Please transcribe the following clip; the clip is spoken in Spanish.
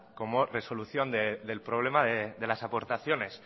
como resolución del problema de las aportaciones